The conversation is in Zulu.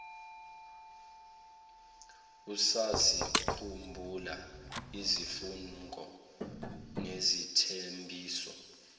usazikhumbula izifungo nezithembiso